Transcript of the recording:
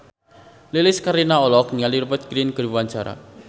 Lilis Karlina olohok ningali Rupert Grin keur diwawancara